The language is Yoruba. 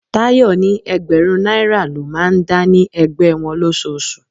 Tayọ ni ẹgbẹ̀rún náírà lọ máa ń dá ní ẹgbẹ́ wọn losoosu.